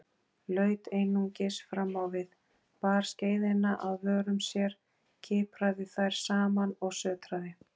Laut einungis framávið, bar skeiðina að vörum sér, kipraði þær saman og sötraði.